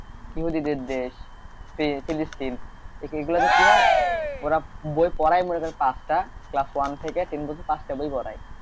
ইয়াহুদি দেশ ফিলিস্তিন এই গুলাতে কি হয় ওরা বই পড়ায় মনে করেন পাঁচটা class one থেকে ten পর্যন্ত পাঁচটি বই পড়ায়,